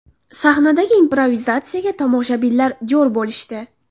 Sahnadagi improvizatsiyaga tomoshabinlar jo‘r bo‘lishdi.